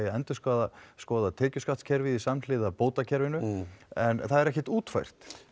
að endurskoða tekjuskattinn samhliða bótakerfinu en það er ekkert útfært